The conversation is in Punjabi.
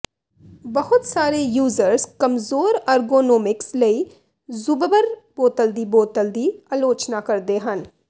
ਬਹੁਤ ਸਾਰੇ ਯੂਜ਼ਰਜ਼ ਕਮਜ਼ੋਰ ਅਰਗੋਨੋਮਿਕਸ ਲਈ ਜ਼ੁਬਬਰ ਬੋਤਲ ਦੀ ਬੋਤਲ ਦੀ ਆਲੋਚਨਾ ਕਰਦੇ ਹਨ